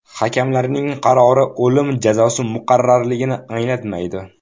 Hakamlarning qarori o‘lim jazosi muqarrarligini anglatmaydi.